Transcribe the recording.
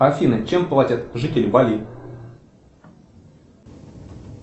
афина чем платят жители бали